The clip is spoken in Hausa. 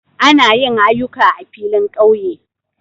Ana yin aƴuka a filin ƙauye